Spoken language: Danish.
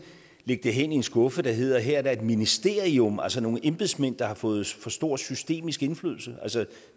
lægge det hen i en skuffe der hedder at her er der et ministerium altså nogle embedsmænd der har fået for stor systemisk indflydelse